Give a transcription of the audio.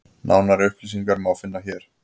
Nánari upplýsingar má finna hér.